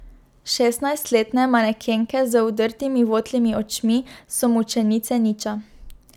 Šestnajstletne manekenke z vdrtimi votlimi očmi so mučenice niča.